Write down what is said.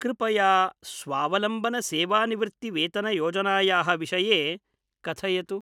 कृपया स्वावलम्बन सेवानिवृत्ति वेतनयोजनायाः विषये कथयतु।